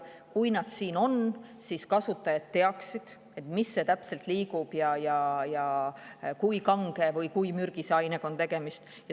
Aga kui nad siin juba on, siis kasutajad peavad teadma, mis asi täpselt liigub ja kui kange või kui mürgise ainega on tegemist.